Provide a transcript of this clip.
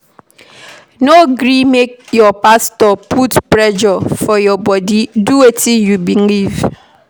No gree make your pastor put pressure for your bodi, do wetin you believe.